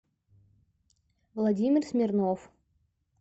владимир смирнов